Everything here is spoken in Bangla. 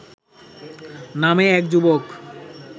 নামে এক যুবক